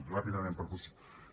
ràpidament per posi